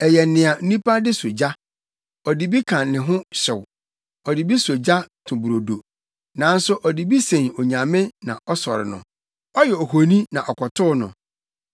Ɛyɛ nea onipa de sɔ ogya; ɔde bi ka ne ho hyew, ɔde bi sɔ ogya to brodo. Nanso ɔde bi sen onyame na ɔsɔre no; ɔyɛ ohoni na ɔkotow no.